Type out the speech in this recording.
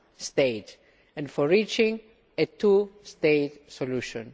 state and for reaching a two state solution.